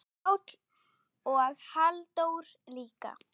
Pál og Halldór líka.